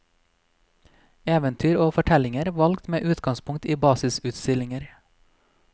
Eventyr og fortellinger valgt med utgangspunkt i basisutstillinger.